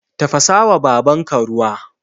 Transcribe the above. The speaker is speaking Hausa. Tafasawa babanka ruwa